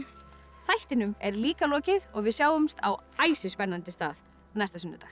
þættinum er líka lokið og við sjáumst á æsispennandi stað næsta sunnudag